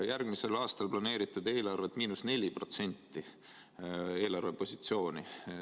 Järgmisel aastal planeerite eelarvepositsiooniks –4%.